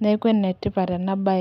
neeku enetipat ena baye.